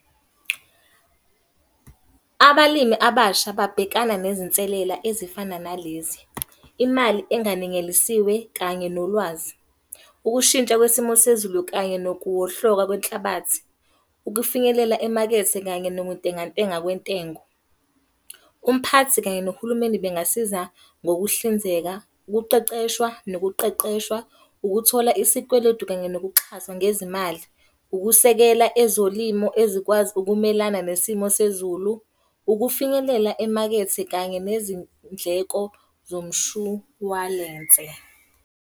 Abalimi abasha babhekane nezinselela ezifana nalezi. Imali enganengelisiwe, kanye nolwazi. Ukushintsha kwesimo sezulu kanye nokuwohloka kwenhlabathi. Ukufinyelela emakethe kanye nokuntengantenga kwentengo. Umphathi kanye nohulumeni bengasiza ngokuhlinzeka, ukuqeqeshwa nokuqeqeshwa. Ukuthola isikweletu kanye nokukuxhaswa ngezimali. Ukusekela ezolimo ezikwazi ukumelana nesimo sezulu, Ukufinyelela emakethe kanye nezindleko zomshwalense.